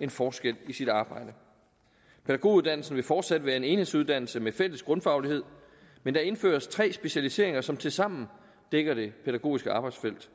en forskel i sit arbejde pædagoguddannelsen vil fortsat være en enhedsuddannelse med en fælles grundfaglighed men der indføres tre specialiseringer som tilsammen dækker det pædagogiske arbejdsfelt